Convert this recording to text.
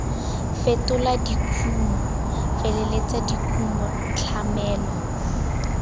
fetola dikumo feleletsa dikumo tlamelo